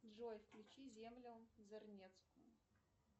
джой включи землю зарнецкую